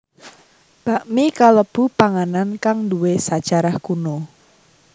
Bakmi kalebu panganan kang nduwe sajarah kuno